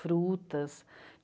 Frutas.